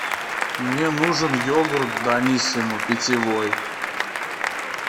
мне нужен йогурт даниссимо питьевой